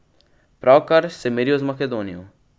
Pravkar se merijo z Makedonijo.